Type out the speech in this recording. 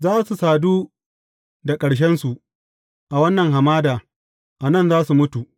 Za su sadu da ƙarshensu a wannan hamada; a nan za su mutu.